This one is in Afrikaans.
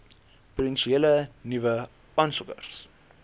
potensiële nuwe aansoekers